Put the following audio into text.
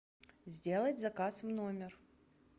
сделать заказ в номер